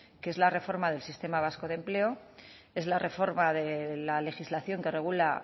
que es la reforma del sistema vasco de empleo es la reforma de la legislación que regula